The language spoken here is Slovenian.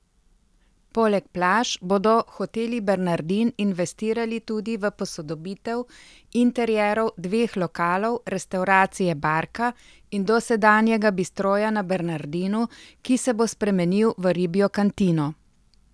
Poleg plaž bodo Hoteli Bernardin investirali tudi v posodobitev interierov dveh lokalov, restavracije Barka in dosedanjega Bistroja na Bernardinu, ki se bo spremenil v ribjo kantino.